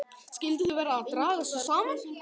Skyldu þau vera að draga sig saman?